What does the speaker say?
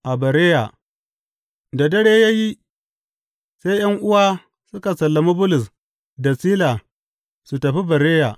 A Bereya Da dare ya yi, sai ’yan’uwa suka sallami Bulus da Sila su tafi Bereya.